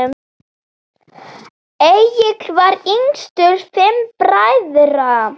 Egill var yngstur fimm bræðra.